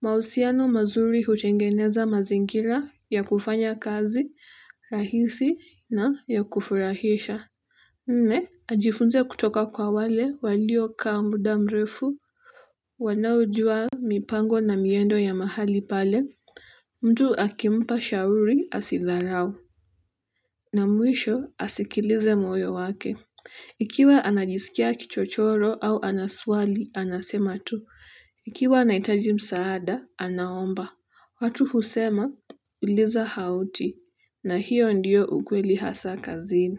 mahusiano mazuri hutengeneza mazingira ya kufanya kazi rahisi na ya kufurahisha nne ajifunze kutoka kwa wale waliokaa muda mrefu wanaojua mipango na miendo ya mahali pale mtu akimpa shauri asidharau, na mwisho asikilize moyo wake. Ikiwa anajisikia kichochoro au ana swali anasema tu. Ikiwa anahitaji msaada anaomba. Watu husema uliza hauti, na hiyo ndiyo ukweli hasaa kazini.